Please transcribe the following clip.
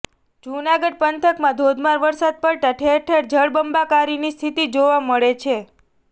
જૂનાગઢ પંથકમાં ધોધમાર વરસાદ પડતાં ઠેર ઠેર જળબંબાકારની સ્થિતિ જોવા મળે છે